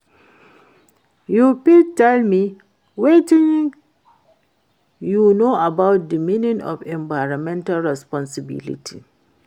you fit tell me wetin you know about di meaning of environmental responsibility